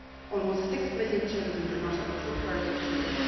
Almost six million children do not have two pairs of shoes.